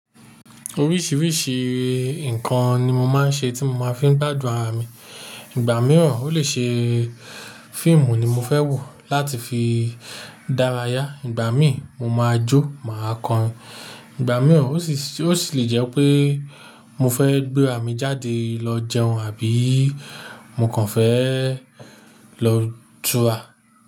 Oríṣìíríṣìí ǹkan ni mo máa ń ṣe tí mo máa fi ń gbàdun ara mi, ìgbà mìíràn ó lè ṣe fíìmù ni mo fẹ́ wò láti fi dárayá, ìgbà míì mo máa jó, màá kọrin, ìgbà mìí ó sì lè jẹ́ pé mo fẹ́ gbé ara mi jáde lọ jẹun àbí mo kàn fẹ́ lọ túra.